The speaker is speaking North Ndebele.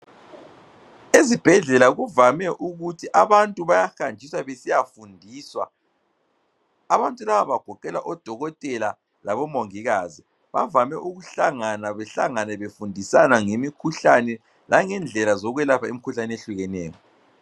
Ezibhedlela kuvame ukuthi abantu bayahanjiswa besiyafundiswa. Abantu laba bagoqela odokotela labomongikazi, bavame ukuhlangana, behlangane befundisana ngemikhuhlane langendlela zokwelapha imikhuhlane ehlukeneyo.